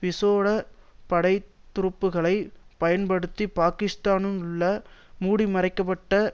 விசோட படை துருப்புக்களை பயன்படுத்தி பாகிஸ்தானுக்குள் மூடிமறைக்கப்பட்ட